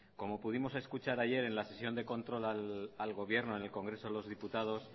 como pudimos escuchar ayer en la sesión de control al gobierno en el congreso de los diputados